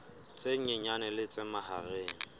tse nyenyane le tse mahareng